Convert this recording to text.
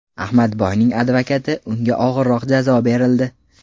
Ahmadboyning advokati: Unga og‘irroq jazo berildi .